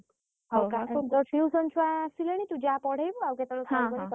Tuition ଛୁଆ ଆସିଲେଣି ତୁ ଯା ପଢେଇବୁ ଆଉ କେତବଳେ phone କରିବୁ କଥା ହବା ହେଲା।